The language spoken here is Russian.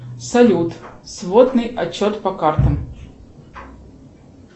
салют сводный отчет по картам